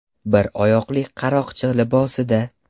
Bir oyoqli qaroqchi libosida.